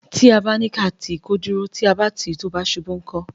Tí a bá ní ká tì í kó dúró; tí a bá tì í tó bá ṣubú, ńkọ́?